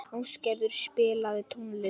Ástgerður, spilaðu tónlist.